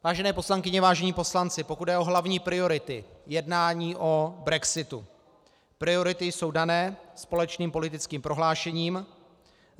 Vážené poslankyně, vážení poslanci, pokud jde o hlavní priority jednání o brexitu, priority jsou dané společným politickým prohlášením: